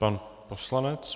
Pan poslanec.